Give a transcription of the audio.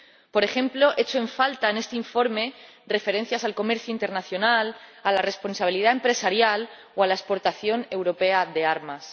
Por ejemplo, echo en falta en este informe referencias al comercio internacional, a la responsabilidad empresarial o a la exportación europea de armas.